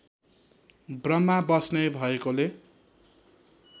ब्रम्हा बस्ने भएकोले